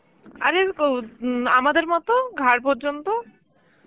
আরে ও উম আমাদের মত, ঘাড় পর্যন্ত.